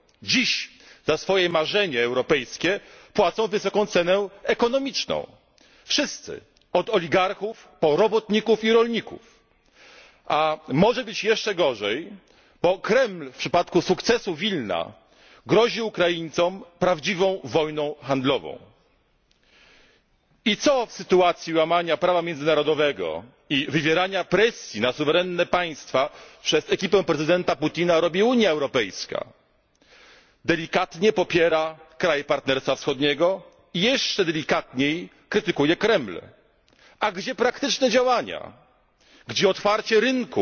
Dziś za swoje marzenie europejskie płacą wysoką cenę ekonomiczną. Wszyscy od oligarchów po robotników i rolników. A może być jeszcze gorzej, bo Kreml w przypadku sukcesu Wilna grozi Ukraińcom prawdziwą wojną handlową. I co w sytuacji łamania prawa międzynarodowego i wywierania presji na suwerenne państwa przez ekipę prezydenta Putina robi Unia Europejska? Delikatnie popiera kraje Partnerstwa Wschodniego i jeszcze delikatniej krytykuje Kreml. A gdzie praktyczne działania? Gdzie otwarcie